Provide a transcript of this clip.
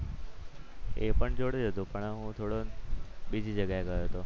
એ પણ જોડે જ હતો પણ હું થોડો બીજી જગ્યાએ ગયો હતો.